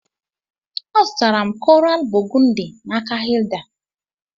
A zụtara m koral bogundi n'aka Hilda